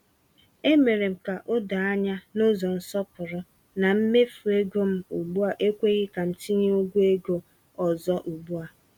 E mere m ka o doo anya n’ụzọ nsọpụrụ na mmefu ego m ugbu a ekweghi ka m tinye ụgwọ ego ọzọ ugbu a.